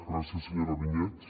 gràcies senyora vinyets